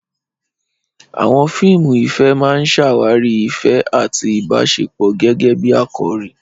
Àwọn fíìmù ìfẹ́ máa ń ṣàwárí ìfẹ́ àti ìbáṣepọ̀ gẹ́gẹ́ bí àkòrí.